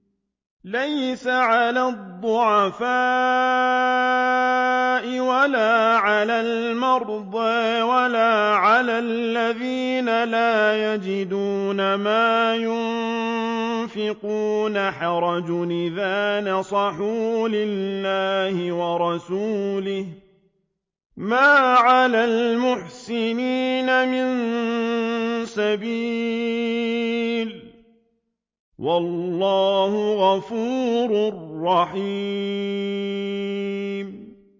لَّيْسَ عَلَى الضُّعَفَاءِ وَلَا عَلَى الْمَرْضَىٰ وَلَا عَلَى الَّذِينَ لَا يَجِدُونَ مَا يُنفِقُونَ حَرَجٌ إِذَا نَصَحُوا لِلَّهِ وَرَسُولِهِ ۚ مَا عَلَى الْمُحْسِنِينَ مِن سَبِيلٍ ۚ وَاللَّهُ غَفُورٌ رَّحِيمٌ